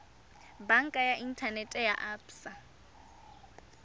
banka ya inthanete ya absa